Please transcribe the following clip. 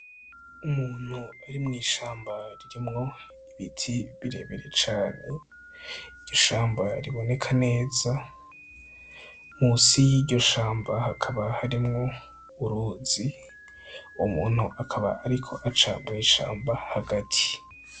Umuntu ari mu ishamba ririmwo ibiti birebire cane ishamba riboneka neza musi yiryo shamba hakaba harimwo uruzi umuntu akaba ariko aca mu ishamba hagati.